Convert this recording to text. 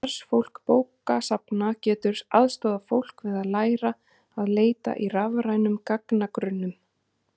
Starfsfólk bókasafna getur aðstoðað fólk við að læra að leita í rafrænum gagnagrunnum.